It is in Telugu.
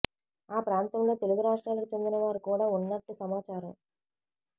ఆ ప్రాంతంలో తెలుగు రాష్ట్రాలకు చెందిన వారు కూడా ఉన్నట్టు సమాచారం